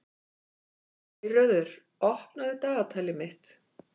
Geirröður, opnaðu dagatalið mitt.